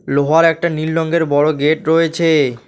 লোহার একটা নীল রঙের বড় গেট রয়েছে।